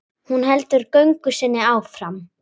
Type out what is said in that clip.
Hún heldur göngu sinni áfram.